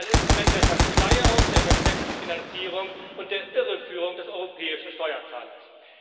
Er ist ein Instrument der Verschleierung, der versteckten Finanzierung und der Irreführung des europäischen Steuerzahlers.